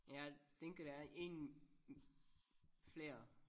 Jeg tænker der er ingen flere